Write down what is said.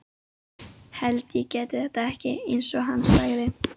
Hélt ég gæti þetta ekki, einsog hann sagði.